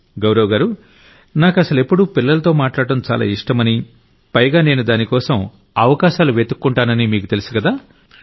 నరేంద్రమోడీ గౌరవ్ గారూ నాకసలెప్పుడూ పిల్లలతో మాట్లాడ్డం చాలా ఇష్టమని పైగా నేను దానికోసం అవకాశాలు వెతుక్కుంటానని మీకు తెలుసుకదా